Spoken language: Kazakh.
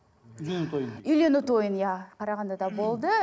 үйлену тойын үйлену тойын иә қарағандыда болды